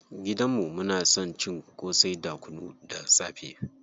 Gidan mu muna son cin ƙosai da kunu da safe.